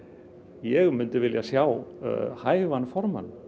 ég myndi vilja sjá hæfan formann